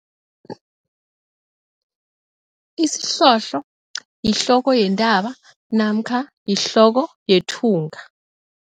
Isihlohlo yihloko yentaba namkha yihloko yethunga.